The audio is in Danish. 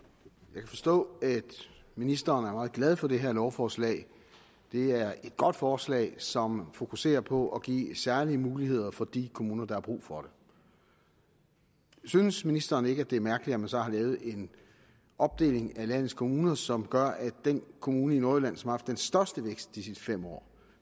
jeg kan forstå at ministeren er meget glad for det her lovforslag det er et godt forslag som fokuserer på at give særlige muligheder for de kommuner der har brug for det synes ministeren ikke at det er mærkeligt at man så har lavet en opdeling af landets kommuner som gør at den kommune i nordjylland som har haft den største vækst de sidste fem år